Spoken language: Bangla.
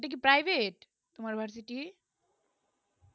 এইটা কি private তোমার varsity